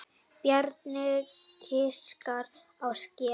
Bjarni giskar á skel.